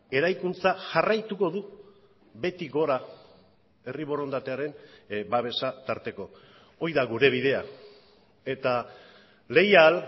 eraikuntza jarraituko du beti gora herri borondatearen babesa tarteko hori da gure bidea eta leial